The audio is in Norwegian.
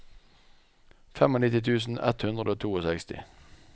nittifem tusen ett hundre og sekstito